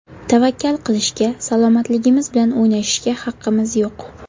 Tavakkal qilishga, salomatligimiz bilan o‘ynashishga haqimiz yo‘q.